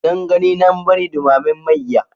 Nan gani nan bari ɗumamen mayya.